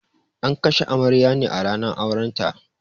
An kashe amaryar ne a ranar auren ta